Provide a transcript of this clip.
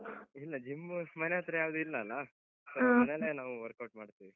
ಇಲ್ಲ gym ಮನೆಯತ್ರ ಯಾವ್ದೂ ಇಲ್ಲಲ್ಲ? so , ಮನೆಯಲ್ಲೇ ನಾವು workout ಮಾಡ್ತೀವಿ.